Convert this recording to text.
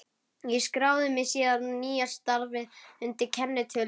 Ég skráði mig síðan í nýja starfið undir kennitölu sem